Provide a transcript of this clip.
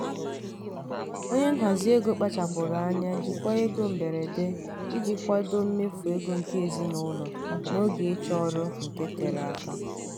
onye nhazi ego kpachapụrụ anya jikwaa ego mberede iji kwadoo mmefu ego nke ezinụlọ n'oge ịchọ ọrụ nke tere aka.